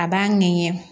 A b'a ŋɛɲɛ